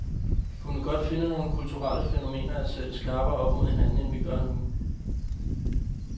Vi kunne godt finde nogle kulturelle fænomener at sætte skarpere op mod hinanden, end vi gør nu.